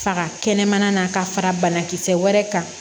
Faga kɛnɛmana na ka fara banakisɛ wɛrɛ kan